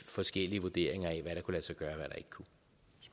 forskellige vurderinger af hvad der kunne lade sig gøre